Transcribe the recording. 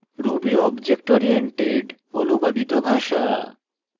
ruby object oriented অনুবাদিত ভাষা